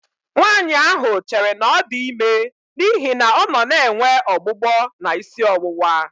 Nwaanyị ahụ chere na ọ dị ime n'ihi na ọ nọ na-enwe ọgbụgbọ na isi ọwụwa